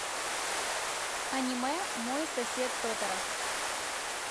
аниме мой сосед тоторо